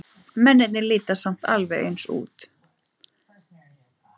Mennirnir líta samt alveg eins út.